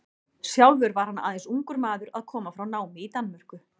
Sjálfur var hann aðeins ungur maður að koma frá námi í Danmörku.